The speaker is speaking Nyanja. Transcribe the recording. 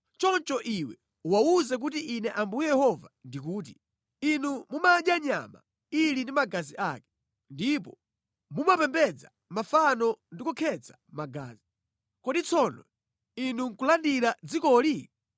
Choncho iwe uwawuze kuti Ine Ambuye Yehova ndikuti, ‘Inu mumadya nyama ili ndi magazi ake, ndipo mumapembedza mafano ndi kukhetsa magazi, kodi tsono inu nʼkulandira dzikoli?